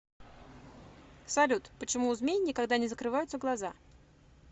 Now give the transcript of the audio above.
салют почему у змей никогда не закрываются глаза